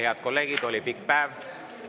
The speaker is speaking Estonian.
Head kolleegid, oli pikk päev.